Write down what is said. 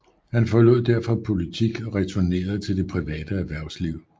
Han forlod derefter politik og returnerede til det private erhvervsliv